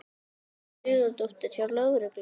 Hildur Sigurðardóttir: Hjá lögreglunni?